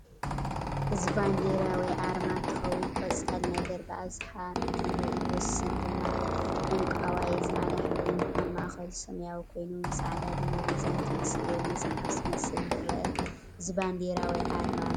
እዚ ባንደራ ወይ ኣረማ እንትከውን ቆፃሊነገር ብኣብዛሓ እ ንትርኢ ወስን ድማ ዕንቋዋይ ፣ሣዕዳ ሕብር ኣብ ማእከሉ ሰማያዊ ኮይኑ ብፃዕዳ ድማ ሚዛን ዝመስል ወይ መፃሓፍ ዝ መስል እንትርእ እዚ ባንዴራ ወይ ኣርማ ናይ መን ይከውን?